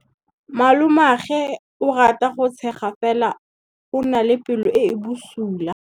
Malomagwe o rata go tshega fela o na le pelo e e bosula.